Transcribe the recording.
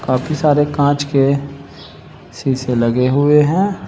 बाकी सारे कांच के शीशे लगे हुए है।